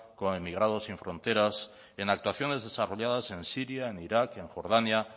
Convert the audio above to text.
con emigrados sin fronteras en actuaciones desarrolladas en siria en irak en jordania